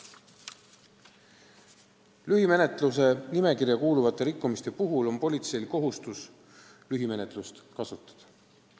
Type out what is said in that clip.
Lühimenetluse nimekirja kuuluvate rikkumiste puhul on politseil kohustus lühimenetlust kasutada.